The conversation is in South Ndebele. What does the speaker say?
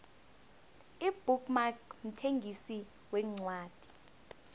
ibook mark mthengisi wencwadi